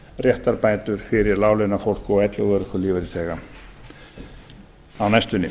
réttarbætur fyrir láglaunafólk og elli og örorkulífeyrisþega á næstunni